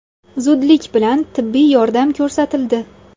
Zudlik bilan tibbiy yordam ko‘rsatildi.